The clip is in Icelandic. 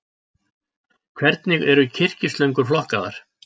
Hvernig eru kyrkislöngur flokkaðar?